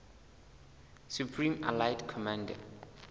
supreme allied commander